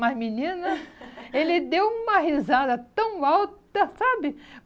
Mas, menina, ele deu uma risada tão alta, sabe?